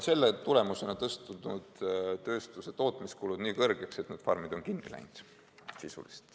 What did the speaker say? Selle tagajärjel on tööstuse tootmiskulud läinud nii suureks, et need farmid on kinni pandud.